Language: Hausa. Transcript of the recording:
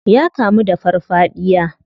Ya kamu da farfadiya.